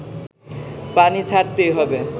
পানি ছাড়তেই হবে